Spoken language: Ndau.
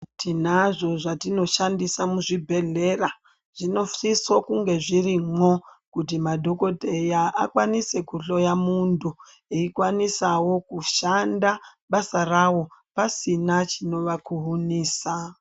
Tinazvo zvatinoshandisa muzvibhedhlera zvinosisa kuti zvirimo kuti madhokoteya akwanise kuhloya muntu eikwanisawo kushanda basa rawo pasina chinova kuhunisa.